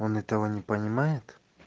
он этого не понимает